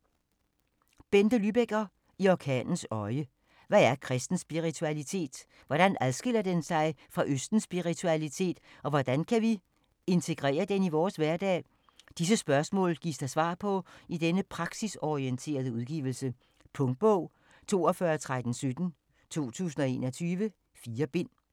Lybecker, Bente: I orkanens øje Hvad er kristen spiritualitet? Hvordan adskiller den sig fra østens spiritualitet og hvordan kan vi integrere den i vores hverdag? Disse spørgsmål gives der svar på i denne praksisorienterede udgivelse. Punktbog 421317 2021. 4 bind.